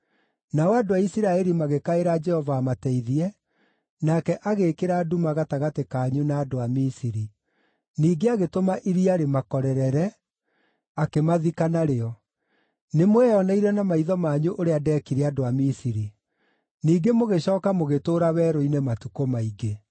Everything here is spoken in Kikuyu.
Nao andũ a Isiraeli magĩkaĩra Jehova amateithie, nake agĩĩkĩra nduma gatagatĩ kanyu na andũ a Misiri; ningĩ agĩtũma iria rĩmakorere, akĩmathika narĩo. Nĩmweyoneire na maitho manyu ũrĩa ndeekire andũ a Misiri. Ningĩ mũgĩcooka mũgĩtũũra werũ-inĩ matukũ maingĩ.